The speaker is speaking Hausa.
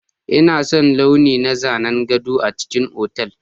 Ina son launi na zanen gado a cikin otal.